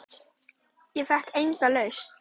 Ég fékk enga lausn.